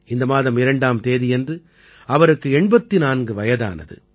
இந்த மாதம் 2ஆம் தேதியன்று அவருக்கு 84 வயதானது